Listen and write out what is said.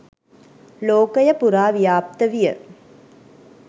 ලෝකය පුරා ව්‍යාප්ත විය.